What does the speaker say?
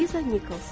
Liza Nikols.